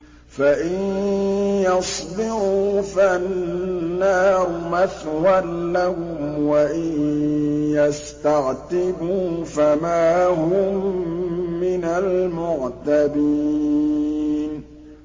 فَإِن يَصْبِرُوا فَالنَّارُ مَثْوًى لَّهُمْ ۖ وَإِن يَسْتَعْتِبُوا فَمَا هُم مِّنَ الْمُعْتَبِينَ